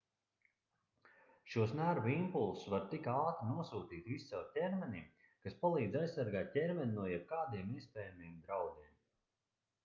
šos nervu impulsus var tik ātri nosūtīt viscaur ķermenim kas palīdz aizsargāt ķermeni no jebkādiem iespējamiem draudiem